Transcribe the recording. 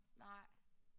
Nej